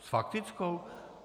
S faktickou?